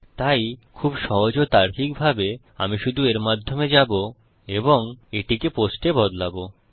তাই খুব সহজ ও তার্কিক ভাবে আমি শুধু এর মাধ্যমে যাবো এবং এটিকে পোস্টে বদলাবো